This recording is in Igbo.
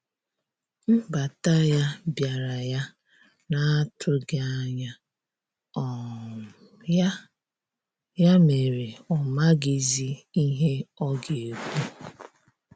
Nbata ya biara ya na atughi anya um ya ya mere ọ maghizi ihe ọga ekwụ.